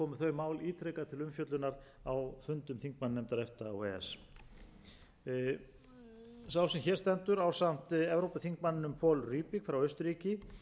mál ítrekað til umfjöllunar á fundum þingmannanefnda efta og e e s sá sem hér stendur ásamt evrópuþingmanninum paul rübig frá austurríki unnu